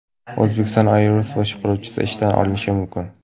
Uzbekistan Airways boshqaruvchisi ishdan olinishi mumkin.